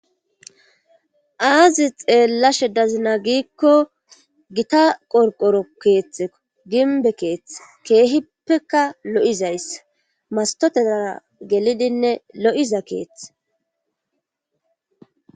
Aazi xeellashe dazina giikko gita qorqoro keeththeko ginbe keethe keehippeka lo7izayssa mastotetara gelidinne lo7iza keeth